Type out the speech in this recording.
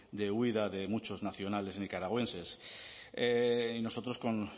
de huida de muchos nacionales nicaragüenses y nosotros con